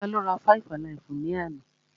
Tá ló rá five-alaifu ni àna?